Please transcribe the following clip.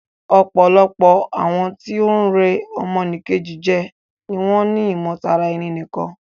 Ọ̀pọ̀lọpọ̀ àwọn tí o ń rẹ́ ọmọ nì Kejì jẹ ni wọ́n ni ìmọ̀ tara ẹni nìkan.